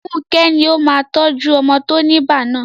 Funke ni ó máa tọ́jú ọmọ tó ní ibà náà..